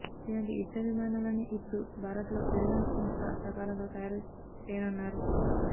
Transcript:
ఇలాంటి యుద్ధ విమానాలనే ఇప్పుడు భారత్లో రిలయన్స్ సంస్థ సహకారంతో తయారు చేయనున్నారు